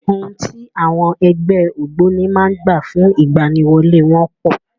Ohun tí àwọn ẹgbẹ́ ògbóni máa ń gbà fún ìgbaniwọlé wọn pọ̀.